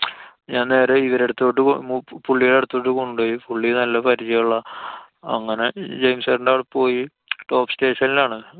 ഞാന്‍ നേരെ ഇവരടുത്തോട്ടു മൂ~ പുള്ളിടെ അടുത്തോട്ടു കൊണ്ടോയി. പുള്ളി നല്ല പരിചയള്ള അങ്ങനെ ജയിംസെട്ടന്റെ അവടെ പോയി. top station ലാണ്.